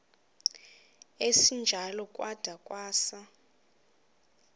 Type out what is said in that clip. esinjalo kwada kwasa